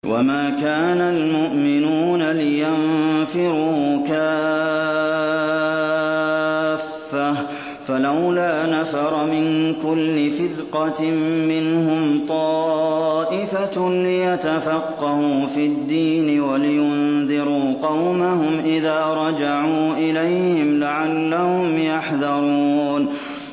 ۞ وَمَا كَانَ الْمُؤْمِنُونَ لِيَنفِرُوا كَافَّةً ۚ فَلَوْلَا نَفَرَ مِن كُلِّ فِرْقَةٍ مِّنْهُمْ طَائِفَةٌ لِّيَتَفَقَّهُوا فِي الدِّينِ وَلِيُنذِرُوا قَوْمَهُمْ إِذَا رَجَعُوا إِلَيْهِمْ لَعَلَّهُمْ يَحْذَرُونَ